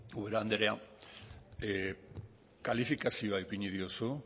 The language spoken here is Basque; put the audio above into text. ubera anderea kalifikazioa ipini diozu